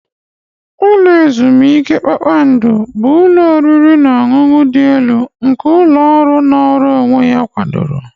Ụlọ ezumike kpakpando bụ ụlọ oriri na ọṅụṅụ dị elu nke ụlọ ọrụ nọọrọ onwe ya kwadoro.